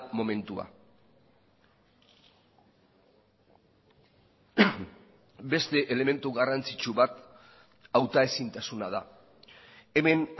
momentua beste elementu garrantzitsu bat hauta ezintasuna da hemen